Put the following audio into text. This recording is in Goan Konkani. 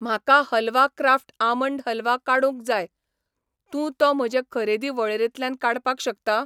म्हाका हलवा क्राफ्ट आमंड हलवा काडूंक जाय, तूं तो म्हजे खरेदी वळेरेंतल्यान काडपाक शकता?